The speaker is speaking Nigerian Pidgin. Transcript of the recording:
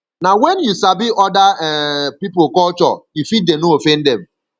nah when you sabi other um pipo culture you fit dey no offend dem